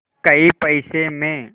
कै पैसे में